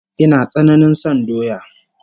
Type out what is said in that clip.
Ina tsananain son doya